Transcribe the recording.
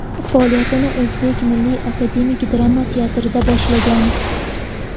Faoliyatini O‘zbek milliy akademik drama teatrida boshlagan.